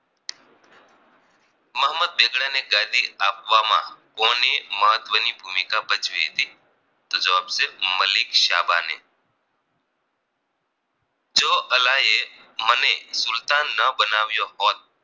મોહમ્મદ બેગડાને ગાદી આપવામાં કોને મહત્વની ભૂમિકા ભજવી હતી તો જવાબ છે મલિક શાબા ને જો અલાએ મને સુલતાન ન બનાવયો હોત